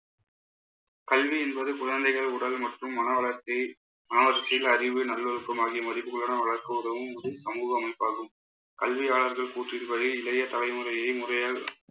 கல்வி என்பது குழந்தைகள் உடல் மற்றும் மனவளர்ச்சியில் அறிவு, நல்லொழுக்கம் ஆகிய மதிப்புக்களுடன் வளர்க்க உதவும் இது சமூக அமைப்பாகும். கல்வியாளர்கள் கூற்றின்படி இளைய தலைமுறையை முறையால்